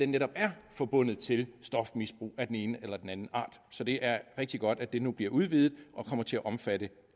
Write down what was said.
netop er forbundet til stofmisbrug af den ene eller den anden art så det er rigtig godt at det nu bliver udvidet og kommer til at omfatte